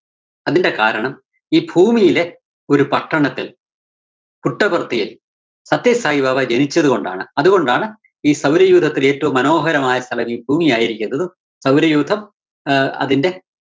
അതിന്റെ കാരണം ഈ ഭൂമിയിലെ ഒരു പട്ടണത്തില്‍ പുട്ടപര്‍ത്തിയില്‍ സത്യസായിബാബ ജനിച്ചതുകൊണ്ടാണ് അതുകൊണ്ടാണ് ഈ സൗരയൂഥത്തിലെ ഏറ്റവും മനോഹരമായ സ്ഥലം ഈ ഭൂമിയായിരിക്കുന്നതും സൗരയൂഥം ആഹ് അതിന്റെ